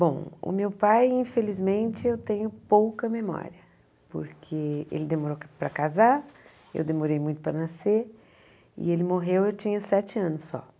Bom, o meu pai, infelizmente, eu tenho pouca memória, porque ele demorou para casar, eu demorei muito para nascer, e ele morreu e eu tinha sete anos só.